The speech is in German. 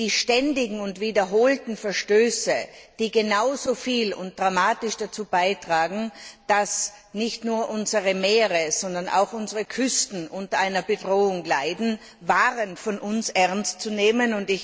Die ständigen und wiederholten Verstöße, die genauso viel und dramatisch dazu beitragen, dass nicht nur unsere Meere, sondern auch unsere Küsten unter einer Bedrohung leiden, waren von uns ernst zu nehmen.